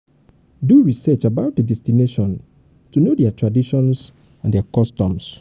do research about di destination to um know their um traditions and um customs and um customs